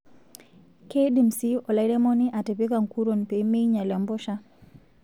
Keidim sii olairemoni atipika nkuruon peemeinyal empusha.